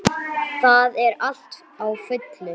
Það er allt á fullu.